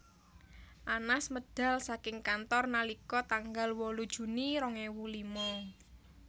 Anas medal saking kantor nalika tanggal wolu Juni rong ewu lima